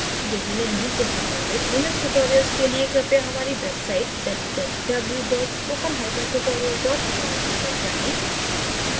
यदि नहीं तो सम्बंधित linux tutorials के लिए कृपया हमारी website www spokentutorial org पर जाएं